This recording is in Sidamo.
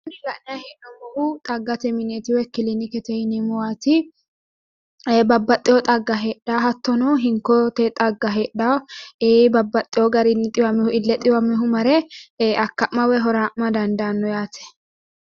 Kuni la'nayi hee'noommohu xaggate mineeti woyi kilinikete yineemmowaati babbaxxewo xagga heedhawo hattono hinkote xagga heedhawo ee babbaxxewo garinni xiwamewohu ille xiwamewohu mare akka'ma woyi huraa'ma dandaanno yaate